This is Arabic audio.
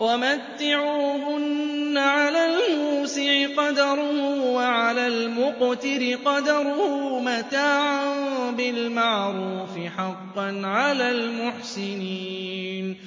وَمَتِّعُوهُنَّ عَلَى الْمُوسِعِ قَدَرُهُ وَعَلَى الْمُقْتِرِ قَدَرُهُ مَتَاعًا بِالْمَعْرُوفِ ۖ حَقًّا عَلَى الْمُحْسِنِينَ